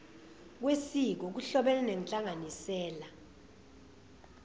kwesiko kuhlobene nenhlanganisela